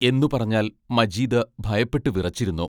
എന്നു പറഞ്ഞാൽ മജീദ് ഭയപ്പെട്ടു വിറച്ചിരുന്നു.